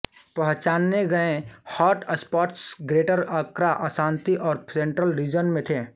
पहचाने गए hotspots Greater Accra Ashanti और सेंट्रल रीजन में थे